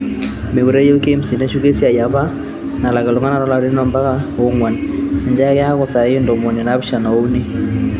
Meekure ayieu KMC neshuko esiai e apa nalak iltungana to larin ompaka oonguan, inch ake eaku saai ntomoni naapishana o uni